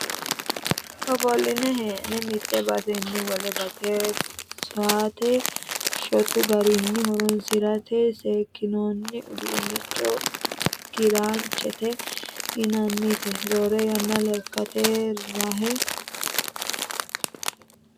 Ofoline hee'ne mite baseni wole base sa"ate shotu garinni horonsirate seekkinoni uduuncho kiranchete yinannite, roore yanna lekkate rake hadhe basete base sa"a dandittanokkiri horonsidhano.